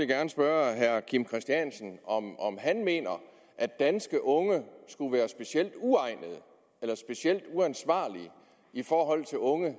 gerne spørge herre kim christiansen om han mener at danske unge skulle være specielt uegnede eller specielt uansvarlige i forhold til unge